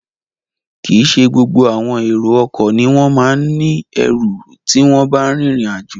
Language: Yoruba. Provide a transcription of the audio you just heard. Kìí ṣe gbogbo àwọn èrò ọkọ̀ ni wọ́n ma ń ní ẹrù tí wọ́n bá rìnrìn àjò